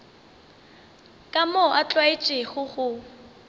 ka moo a tlwaetšego go